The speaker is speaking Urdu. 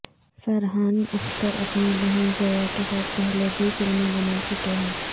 فرحان اختر اپنی بہن زویا کے ساتھ پہلے بھی فلمیں بنا چکے ہیں